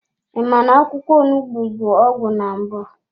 I ma na-akwụkwọ onugbu bụ ọgwụ na mbụ?